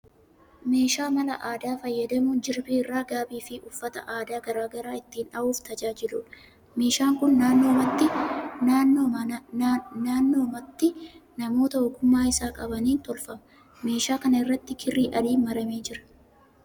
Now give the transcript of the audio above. Meeshaa mala aadaa fayyadamuun jirbii irraa gaabii fi uffata aadaa garaa garaa ittiin dha'uuf tajaajiluudha. Meeshaan kun naannoomatti namoota ogummaa isaa qabaniin tolfama. Meeshaa kana irratti kirrii adiin maramee jira.